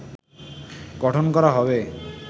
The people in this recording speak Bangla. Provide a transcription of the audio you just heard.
গঠন করা হবে